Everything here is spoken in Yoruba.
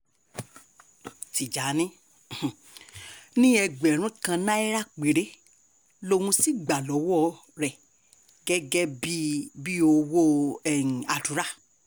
tìjànì um ní ẹgbẹ̀rún kan náírà péré lòún sì gbà lọ́wọ́ rẹ̀ gẹ́gẹ́ bíi bíi owó um àdúrà